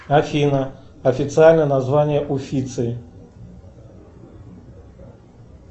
афина официальное название уфицы